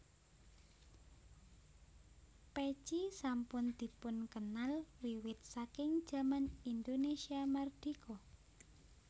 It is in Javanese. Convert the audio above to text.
Pèci sampun dipunkenal wiwit saking jaman Indonesia Mardika